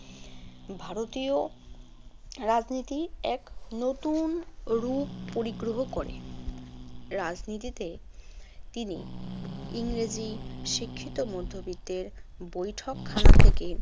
ভারতীয় রাজনীতি এক নতুন রূপ পরিগ্রহ করে। রাজনীতিতে তিনি ইংরেজি শিক্ষিত মধ্যবিত্তের বৈঠকখানা থেকে